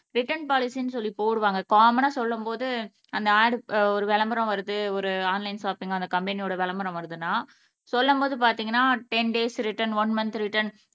return பாலிசினு சொல்லி போடுவாங்க காமன்னா சொல்லும்போது அந்த ஆட் ஒரு விளம்பரம் வருது ஒரு ஆன்லைன் ஷாப்பிங்க் அந்த கம்பெனியோட விளம்பரம் வருதுனா சொல்லும்போது பாத்திங்கனா ten days return one month return